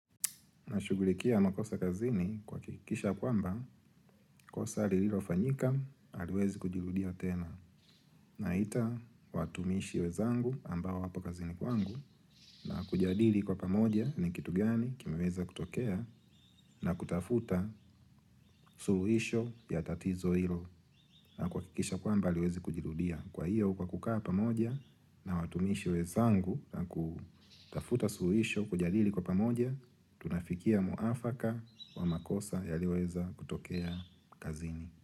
Nashughulikia makosa kazini kuhakikisha kwamba, kosa lililofanyika, haliwezi kujirudia tena. Naita watumishi wenzangu ambao wapo kazini kwangu na kujadili kwa pamoja ni kitu gani kimeweza kutokea na kutafuta suluhisho ya tatizo hilo. Na kuhakikisha kwamba haliwezi kujirudia Kwa hiyo kwa kukaa pamoja na watumishi wenzangu na kutafuta suluhisho kujalili kwa pamoja Tunafikia mwafaka wa makosa yaliweza kutokea kazini.